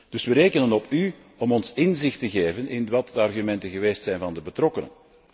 Dus we rekenen op u om ons inzicht te geven in wat de argumenten geweest zijn van de betrokkenen.